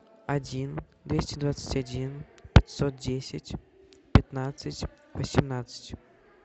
один двести двадцать один пятьсот десять пятнадцать восемнадцать